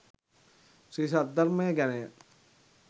ශ්‍රී සද්ධර්මය ගැන ය.